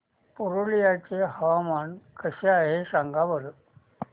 पुरुलिया चे हवामान कसे आहे सांगा बरं